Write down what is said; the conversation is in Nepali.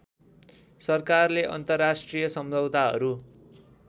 सरकारले अन्तर्राष्ट्रिय सम्झौताहरू